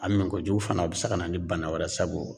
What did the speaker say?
A min kojugu fana bI se kana ni bana wɛrɛ sabu